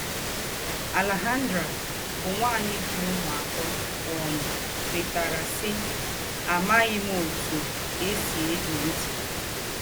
Alejandra, bụ́ ǹwányì jì úmù àtọ̀, um kwètàrà, sí: “ Àmàghì m̀ ótù è sí ègé ńtì. ”